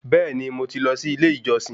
Beeni, Mo ti lọ sí ilé ìjọsìn